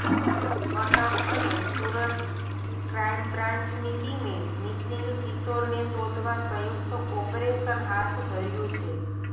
કટક અને સુરત ક્રાઇમબ્રાન્ચની ટીમે મિસિંગ કિશોરને શોધવા સંયુક્ત ઓપરેશન હાથ ધર્યું છે